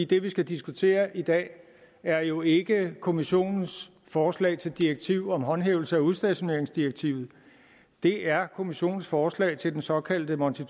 det vi skal diskutere i dag er jo ikke kommissionens forslag til direktiv om håndhævelse af udstationeringsdirektivet det er kommissionens forslag til den såkaldte monti